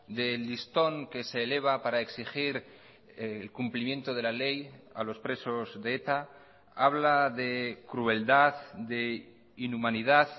del listón que se eleva para exigir el cumplimiento de la ley a los presos de eta habla de crueldad de inhumanidad